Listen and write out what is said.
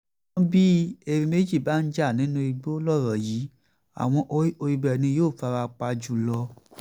ṣùgbọ́n bí erin méjì bá ń jà nínú igbó lọ̀rọ̀ yìí àwọn koríko ibẹ̀ ni yóò fara pa jù lọ